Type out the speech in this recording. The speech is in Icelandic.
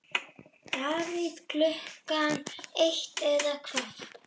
Davíð Klukkan eitt eða hvað?